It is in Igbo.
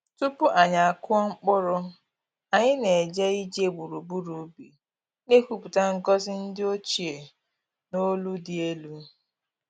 Tupu anyị akụọ mkpụrụ, anyị na-eje ije gburugburu ubi, na-ekwupụta ngọzi ndi ochie n’olu dị elu.